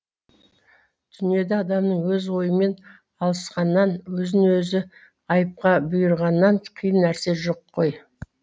дүниеде адамның өз ойымен алысқаннан өзін өзі айыпқа бұйырғаннан қиын нәрсе жоқ қой